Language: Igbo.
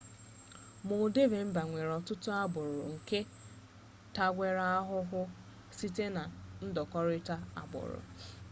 moldova mba nwere ọtụtụ-agbụrụ nke nke tagwere ahụhụ sitere na ndọkụrịta agbụrụ